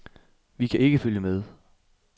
Vi kan ikke følge med.